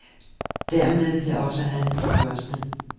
Dermed blev også han den første.